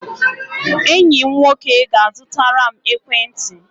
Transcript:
Enyi m nwoke ga-azụtara m ekwentị.